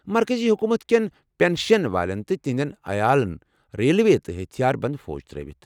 مرکٔزی حکوٗمت كین پنشیٚن والیٚن تہٕ تہنٛدِس عیالس ریلوے تہٕ ہتھِیار بَنٛد فوجٕ ترٲوِتھ۔